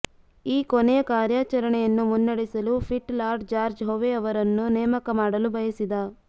ಈ ಕೊನೆಯ ಕಾರ್ಯಾಚರಣೆಯನ್ನು ಮುನ್ನಡೆಸಲು ಪಿಟ್ ಲಾರ್ಡ್ ಜಾರ್ಜ್ ಹೊವೆ ಅವರನ್ನು ನೇಮಕ ಮಾಡಲು ಬಯಸಿದ